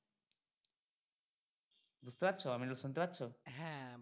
বুজতে পারছো আমিরুল শুনতে পাচ্ছ